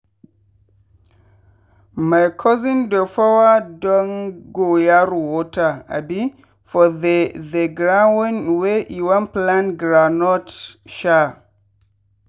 my cousin dey pour dongoyaro water abi for the the ground wey e wan plant groundnut. sha